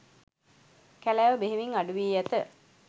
කැලෑව බෙහෙවින් අඩු වී ඇත